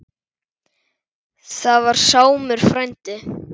Það var Sámur frændi.